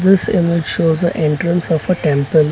This image shows the entrance of a temple.